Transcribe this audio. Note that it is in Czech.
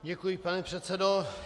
Děkuji, pane předsedo.